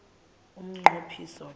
umnqo phiso ke